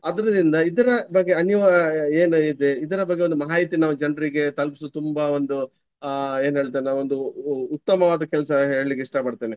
ಅದ್ರಿದಿಂದ ಇದರ ಬಗ್ಗೆ ಅನಿವಾ~ ಏನು ಇದೆ ಇದರ ಬಗ್ಗೆ ಒಂದು ಮಾಹಿತಿ ನಾವು ಜನರಿಗೆ ತಲುಪಿಸಿ ತುಂಬಾ ಒಂದು ಅಹ್ ಏನ್ ಹೇಳ್ತಾರೆ ನಾವೊಂದು ಉ~ ಉತ್ತಮವಾದ ಕೆಲಸ ಹೇಳ್ಲಿಕ್ಕೆ ಇಷ್ಟ ಪಡ್ತೇನೆ.